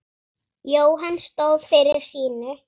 Jóhann stóð fyrir sínu.